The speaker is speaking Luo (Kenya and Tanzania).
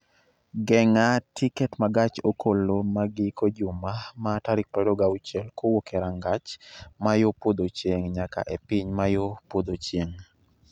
geng'a tiket ma gach okoloma giko juma ma tarik 26 kowuok e rangach ma yo podho chieng' nyaka e piny ma yo podho chieng'